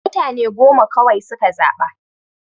Mutane goma kawai suka zaɓa.